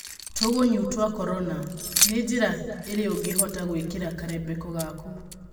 tũgunyũtwa Korona. Nĩ njĩra ĩrĩkũũngĩhota gwĩkĩra karembeko gaku?